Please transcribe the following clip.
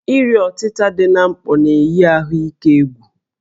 Iri ọtịta dị na mkpọ na-eyi ahụike egwu